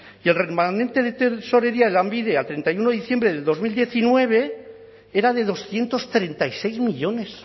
y el remanente de tesorería de lanbide a treinta y uno de diciembre de dos mil diecinueve era de doscientos treinta y seis millónes